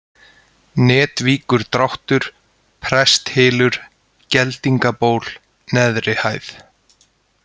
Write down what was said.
Netvíkurdráttur, Presthylur, Geldingaból, Neðri-Hæð